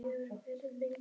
Þín Sóley Björk